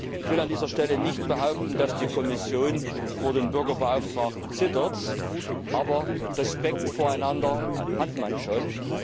Ich will an dieser Stelle nicht behaupten, dass die Kommission vor dem Bürgerbeauftragten zittert, aber Respekt voreinander hat man schon.